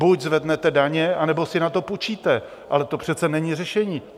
Buď zvednete daně, anebo si na to půjčíte, ale to přece není řešení.